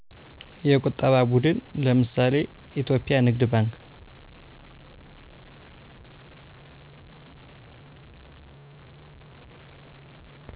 የቁጠባ ቡድን ለምሳሌ ኢትዮጵያ ንግድ ባንክ